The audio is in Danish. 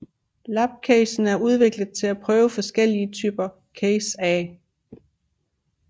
Labcachen er udviklet til at prøve forskellige typer cacher af